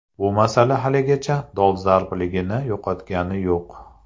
Bu masala haligacha dolzarbligini yo‘qotgani yo‘q.